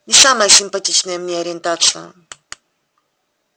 не самая симпатичная мне ориентация